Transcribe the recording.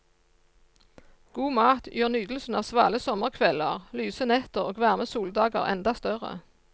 God mat gjør nytelsen av svale sommerkvelder, lyse netter og varme soldager enda større.